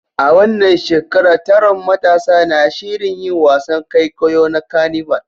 A wannan shekara, taron matasa na shirin yin wasan kwaikwayo na carnival